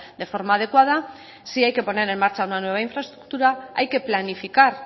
de forma adecuada si hay que poner en marcha una nueva infraestructura hay que planificar